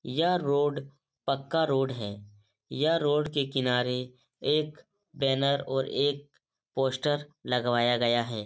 यह रोड पक्का रोड है। यह रोड के किनारे एक बैनर और एक पोस्टर लगवाया गया है।